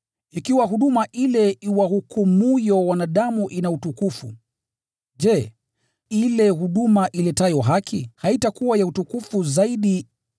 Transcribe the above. Ikiwa huduma ile inayowahukumu wanadamu ina utukufu, je, ile huduma iletayo haki haitakuwa ya utukufu zaidi?